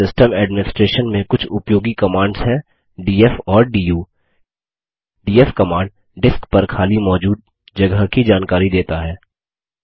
Linux system administration में कुछ उपयोगी कमांड्स हैं डीएफ और डू डीएफ कमांड डिस्क पर खाली मौजूद जगह की जानकारी देता है